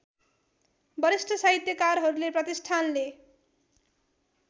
वरिष्ठ साहित्यकारहरूले प्रतिष्ठानले